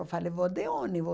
Eu falei, vou de ônibus.